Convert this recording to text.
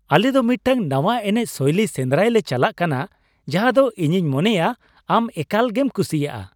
ᱟᱞᱮ ᱫᱚ ᱢᱤᱫᱴᱟᱝ ᱱᱟᱣᱟ ᱮᱱᱮᱡ ᱥᱳᱭᱞᱤ ᱥᱮᱸᱫᱨᱟᱭ ᱞᱮ ᱪᱟᱞᱟᱜ ᱠᱟᱱᱟ ᱡᱟᱦᱟᱸ ᱫᱚ ᱤᱧᱤᱧ ᱢᱚᱱᱮᱭᱟ ᱟᱢ ᱮᱠᱟᱞ ᱜᱮᱢ ᱠᱩᱥᱤᱭᱟᱜᱼᱟ ᱾